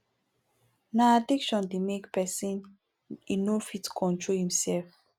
na addiction dey make pesin e no fit control im sef